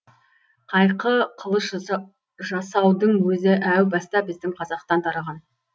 қайқы қылыш жаса жасаудың өзі әу баста біздің қазақтан тараған